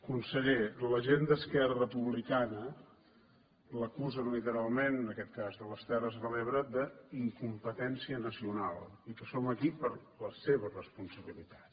conseller la gent d’esquerra republicana l’acusen literalment en aquest cas de les terres de l’ebre d’incompetència nacional i que som aquí per la seva res ponsabilitat